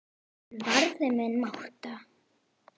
Hann varði minni máttar.